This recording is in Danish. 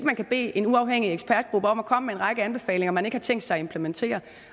man kan bede en uafhængig ekspertgruppe om at komme med en række anbefalinger man ikke har tænkt sig at implementere